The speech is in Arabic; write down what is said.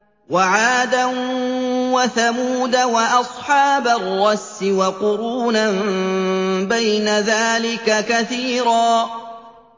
وَعَادًا وَثَمُودَ وَأَصْحَابَ الرَّسِّ وَقُرُونًا بَيْنَ ذَٰلِكَ كَثِيرًا